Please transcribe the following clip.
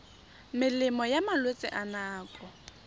melemo ya malwetse a nako